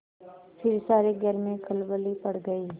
फिर सारे घर में खलबली पड़ गयी